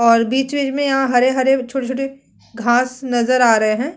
और बीच-बीच में यहाँ हरे-हरे छोटे-छोटे घास नज़र आ रहे है।